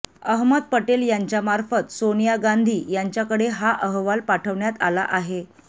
अहमद पटेल यांच्यामार्फत सोनिया गांधी यांच्याकडे हा अहवाल पाठवण्यात आला आहे